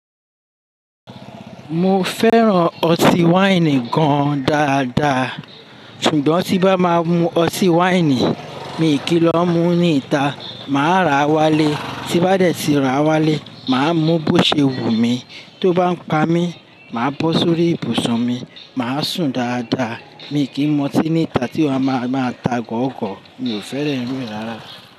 Mo fẹ́ràn ọtí wáìnì gan-an dáadáa. Ṣùgbọ́n tí bá máa mu ọtí wáìnì, mi ò kí ń lọ mú ní ìta, màá rà wálé. Tí bá dẹ̀ tí ra wálé, màá mú bó ṣe wù mí. Tó bá ń pa mí, màá bọ́ sórí ibùsùn mi, màá sùn dáadáa. Mi ò kí ń mu ọtí ní ìta tí wọ́n bá máa ta gọ̀ogọ̀, mi ò fẹ́ràn irú ìdárayá.